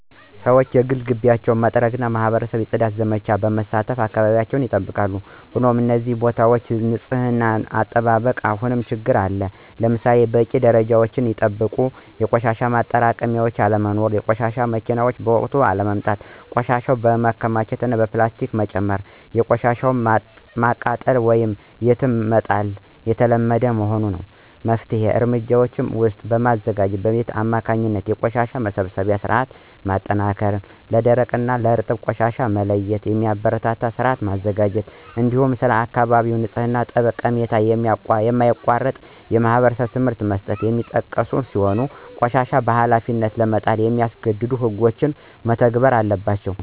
ሰዎች የግል ግቢያቸውን በመጥረግና በማኅበረሰብ የፅዳት ዘመቻዎች በመሳተፍ አካባቢያቸውን ይጠብቃሉ። ሆኖም የሕዝብ ቦታዎች ንፅህና አጠባበቅ አሁንም ችግር አለበት። ለምሳሌ በቂና ደረጃቸውን የጠበቁ የቆሻሻ ማጠራቀሚያዎች አለመኖር፣ የቆሻሻ መኪናዎች በወቅቱ ባለመምጣታቸው ቆሻሻ መከማቸቱ እና ፕላስቲክን ጨምሮ ቆሻሻን ማቃጠል ወይም የትም መጣል የተለመደ መሆኑ ይጠቀሳል። ከመፍትሄ እርምጃዎች ውስጥም በማዘጋጃ ቤት አማካኝነት የቆሻሻ መሰብሰቢያ ሥርዓቱን ማጠናከር፣ ለደረቅና እርጥብ ቆሻሻ መለያየትን የሚያበረታታ ሥርዓት መዘርጋት፣ እንዲሁም ስለ አካባቢ ንጽሕና ጠቀሜታ የማያቋርጥ የማኅበረሰብ ትምህርት መስጠት የሚጠቀሱ ሲሆን ቆሻሻን በኃላፊነት ለመጣል የሚያስገድዱ ሕጎችም መተግበር አለባቸው።